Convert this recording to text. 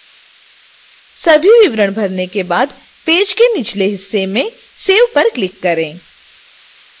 सभी विवरण भरने के बाद पेज के निचले हिस्से में save पर क्लिक करें